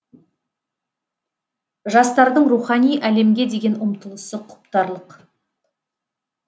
жастардың рухани әлемге деген ұмтылысы құптарлық